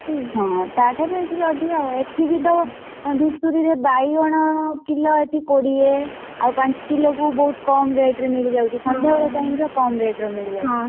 ହଁ ତା ଠାରୁ ଏଠି ଟିକେ ଅଧିକା ଆଉ। ଏଠି ବି ତ ଧୂସୁରୀରେ ବାଇଗଣ କିଲ ଏଠି କୋଡିଏ ଆଉ ପାଞ୍ଚ କିଲକୁ ବହୁତ୍ କମ୍ rate ରେ ମିଳିଯାଉଛି ସନ୍ଧ୍ୟାବେଳ time ରେ କମ୍ ରେ ଟିକେ ମିଳିଯାଉଛି। ସନ୍ଧ୍ୟାବେଳ time ରେ ମିଳିଯାଉଛି।